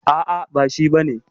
A'a, ba shi bane.